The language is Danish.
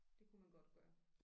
Det kunne man godt gøre